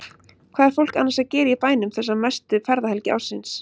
Hvað er fólk annars að gera í bænum þessa mestu ferðahelgi ársins?